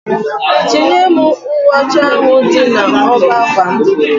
Chinye m uwe ocha ahụ dị na ọbá ákwà m